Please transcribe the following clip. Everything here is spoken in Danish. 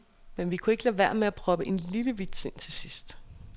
Men vi kunne ikke lade være med at proppe en lille vits ind til sidst.